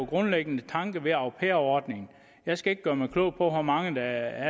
grundlæggende tanke ved au pair ordningen jeg skal ikke gøre mig klog på hvor mange der